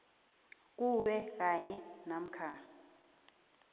kuwe kanye namkha